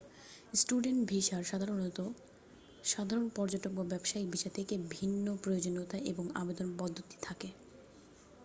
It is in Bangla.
স্টুডেন্ট ভিসার সাধারণত সাধারণ পর্যটক বা ব্যবসায়িক ভিসা থেকে ভিন্নপ্রয়োজনীয়তা এবং আবেদন পদ্ধতি থাকে